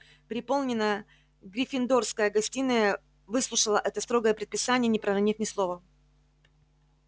переполненная гриффиндорская гостиная выслушала это строгое предписание не проронив ни слова